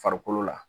Farikolo la